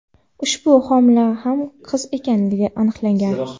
ushbu homila ham qiz ekani aniqlangan.